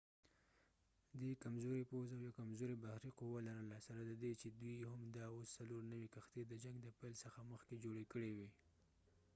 دي کمزوری پوځ او یوه کمزوری بحری قوه لرله سره ددې چې دوي هم دا اوس څلور نوي کښتی د جنګ د پیل څخه مخکې جوړی کړي وي